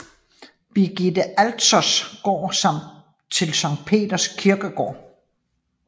Birgitte Alters gård samt til Sankt Peders kirkegård